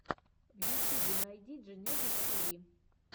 в ютьюбе найди дженезис тиви